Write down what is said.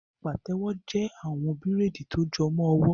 Pàtẹ́wo jẹ́ àwọn bíraidi ti ó jọmọ ọwọ